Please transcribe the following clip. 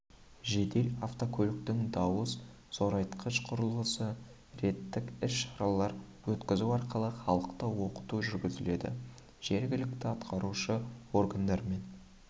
жедел автокөліктің дауыс зорайтқыш құрылғысы рейдтік іс-шаралар өткізу арқылы халықты оқыту жүргізіледі жергілікті атқарушы органдармен